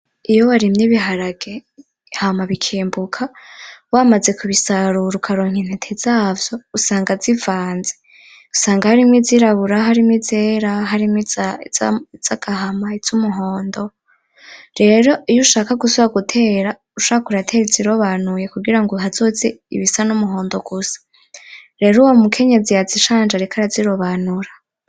Iyo barimye ibiharage hama bikimbuka bamaze kubisarura ukaronka intete zazo ,usanga zivanze usanga harimwo izirabura harimwo izera harimwo izagahama izumuhondo . Rero iyo ushaka gusubira gutera ushaka uratera izirobanuye kugirango hazoze izumuhondo gusa .Rero uyo mukenyezi yazishaje ariko arazirobanura.